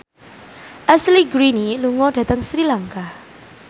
Ashley Greene lunga dhateng Sri Lanka